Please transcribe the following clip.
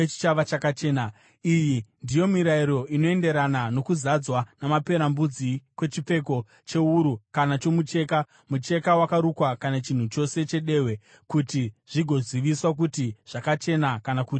Iyi ndiyo mirayiro inoenderana nokuzadzwa namaperembudzi kwechipfeko chewuru kana chomucheka, mucheka wakarukwa kana chinhu chose chedehwe kuti zvigoziviswa kuti zvakachena kana kuti hazvina kuchena.